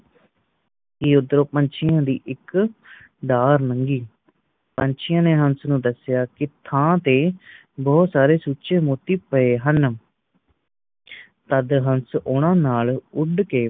ਕਿ ਓਧਰੋਂ ਪੰਛੀਆਂ ਦੀ ਇੱਕ ਕਤਾਰ ਲੰਘੀ ਪੰਛੀਆਂ ਨੇ ਹੰਸ ਨੂੰ ਦੱਸਿਆ ਕਿ ਥਾਂ ਤੇ ਬਹੁਤ ਸਾਰੇ ਚੂਚੇ ਮੋਤੀ ਪਾਏ ਹਨ ਤਦ ਹੰਸ ਓਹਨਾ ਨਾਲ ਉਡ ਕੇ